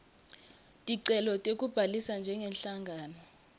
ticelo tekubhalisa njengenhlangano